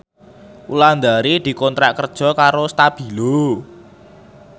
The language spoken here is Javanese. Wulandari dikontrak kerja karo Stabilo